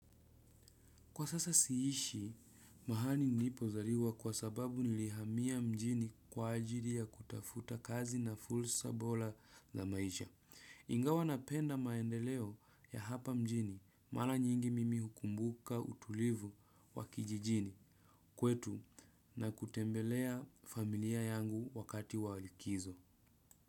Kwa sasa siishi, mahali nilipozaliwa kwa sababu nilihamia mjini kwa ajili ya kutafuta kazi na fursa bora ya maisha. Ingawa napenda maendeleo ya hapa mjini, mara nyingi mimi hukumbuka utulivu wa kijijini kwetu na kutembelea familia yangu wakati walikizo.